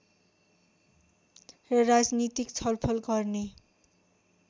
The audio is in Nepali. र राजनीतिक छलफल गर्ने